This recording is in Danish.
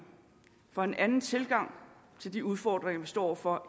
og for en anden tilgang til de udfordringer vi står over for